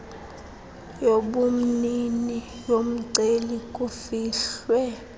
yobumnini yomceli kufihlwe